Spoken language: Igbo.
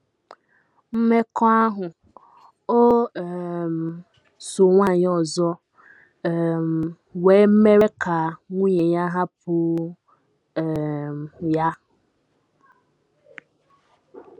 Mmekọahụ o um so nwanyị ọzọ um nwee mere ka nwunye ya hapụ um ya.